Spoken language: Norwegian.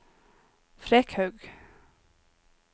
Frekhaug